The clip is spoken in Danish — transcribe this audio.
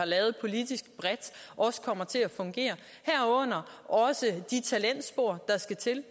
lavet politisk bredt også kommer til at fungere herunder også de talentspor der skal til